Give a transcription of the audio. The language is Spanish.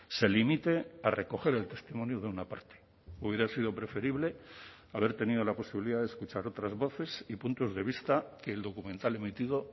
se limite a recoger el testimonio de una parte hubiera sido preferible haber tenido la posibilidad de escuchar otras voces y puntos de vista que el documental emitido